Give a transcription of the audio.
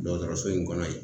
Dɔgɔtɔrɔso in kɔnɔ yen